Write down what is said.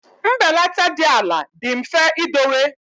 Mbelata dị ala dị mfe idowe.